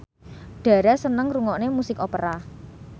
Dara seneng ngrungokne musik opera